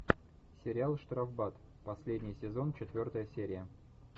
сериал штрафбат последний сезон четвертая серия